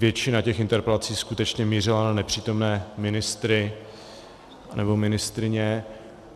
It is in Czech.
Většina těch interpelací skutečně mířila na nepřítomné ministry nebo ministryně.